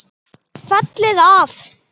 Fellið af.